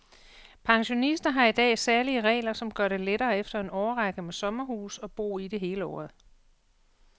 Pensionister har i dag særlige regler, som gør det lettere efter en årrække med sommerhus at bo i det hele året.